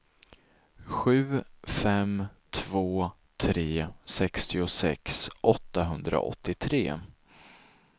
sju fem två tre sextiosex åttahundraåttiotre